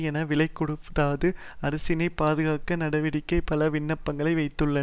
என்ன விலைகொடுத்தாவது அரசினை பாதுகாக்கும் நடவடிக்கைக்கு பல விண்ணப்பங்களை வைத்துள்ள